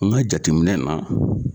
N ga jateminɛ na